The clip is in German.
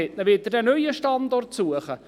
Wollen Sie einen neuen Standort suchen?